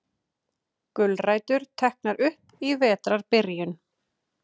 Gulrætur teknar upp í vetrarbyrjun